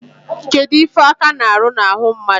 Kedu ife aka na-aru na-ahụ mmadu?